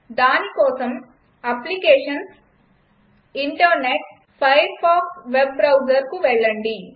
దానికోసం applications జీటీ internet జీటీ ఫైర్ఫాక్స్ వెబ్ Browserకు వెళ్లండి